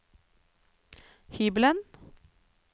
hybelen